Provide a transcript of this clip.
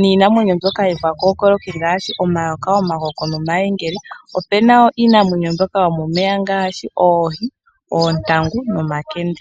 niinamweyo mbyoka yopakokoloki ngaashi omayoka, omakoko nomayengele opu nawo iinamwenyo mbyoka yomomeya ngaashi oohi, oontangu nomankende.